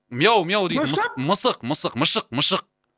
мяу мяу дейтін мысық мысық мысық мышық мышық